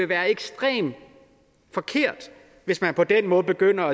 være ekstremt forkert hvis man på den måde begyndte